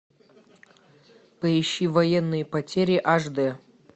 поищи военные потери аш дэ